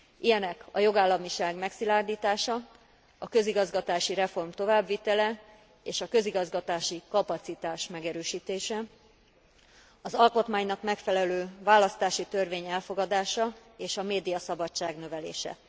Ilyenek a jogállamiság megszilárdítása, a közigazgatási reform továbbvitele, és a közigazgatási kapacitás megerősítése, az alkotmánynak megfelelő választási törvény elfogadása, és a médiaszabadság növelése.